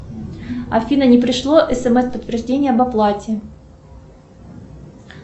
афина не пришло смс подтверждение об оплате